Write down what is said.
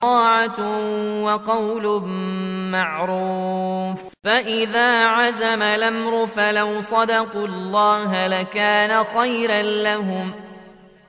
طَاعَةٌ وَقَوْلٌ مَّعْرُوفٌ ۚ فَإِذَا عَزَمَ الْأَمْرُ فَلَوْ صَدَقُوا اللَّهَ لَكَانَ خَيْرًا لَّهُمْ